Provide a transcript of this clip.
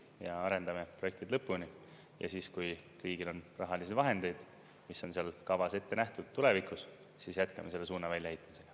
Me arendame projektid lõpuni ja siis, kui riigil on rahalisi vahendeid, mis on seal kavas ette nähtud tulevikus, siis jätkame selle suuna väljaheitmisega.